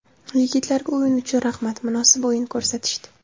Yigitlarga o‘yin uchun rahmat, munosib o‘yin ko‘rsatishdi.